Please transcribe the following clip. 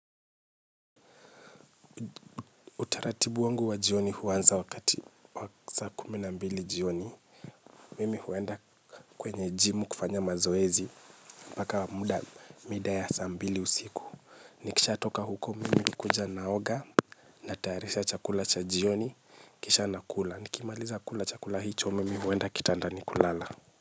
Utaratibu wangu wa jioni huanza wakati saa kumi na mbili jioni. Mimi huenda kwenye jimu kufanya mazoezi. Mpaka muda mida ya saa mbili usiku. Nikishatoka huko mimi hukuja naoga. Natayarisha chakula cha jioni, kisha nakula. Nikimaliza kula chakula hicho mimi huenda kitandani kulala.